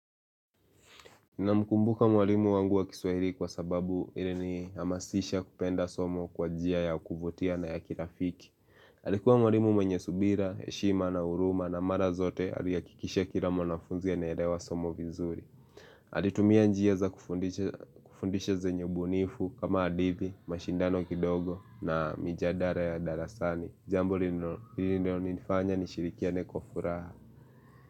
Na mkumbuka mwalimu wangu wa kiswahiri kwa sababu ilini hamasisha kupenda somo kwa jia ya kufutia na ya kilafiki. Alikuwa mwalimu mwenye subira, eshima na uruma na mara zote aliyakikisha kila mwanafunzi ya nelewa somo vizuri. Alitumia njia za kufundisha zenye ubu nifu kama hadithi, mashindano kidogo na mijadara ya darasani. Jambo lino nifanya ni shirikia neko furaha.